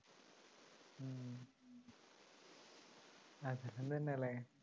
ഇന്ന് തന്നെയല്ലേ?